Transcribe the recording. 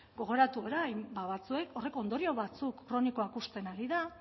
gogoratu orain batzuek horrek ondorio batzuk kronikoak uzten ari da